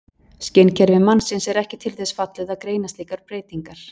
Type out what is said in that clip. Skynkerfi mannsins er ekki til þess fallið að greina slíkar breytingar.